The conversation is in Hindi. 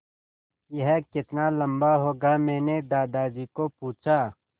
यह कितना लम्बा होगा मैने दादाजी को पूछा